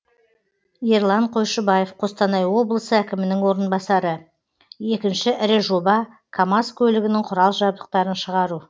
ерлан қойшыбаев қостанай облысы әкімінің орынбасары екінші ірі жоба камаз көлігінің құрал жабдықтарын шығару